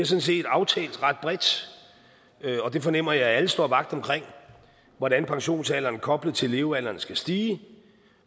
set aftalt ret bredt og det fornemmer jeg at alle står vagt omkring hvordan pensionsalderen koblet til levealderen skal stige